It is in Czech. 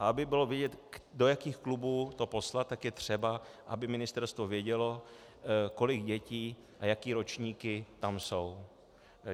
A aby bylo vidět, do jakých klubů to poslat, tak je třeba, aby ministerstvo vědělo, kolik dětí a jaké ročníky tam jsou.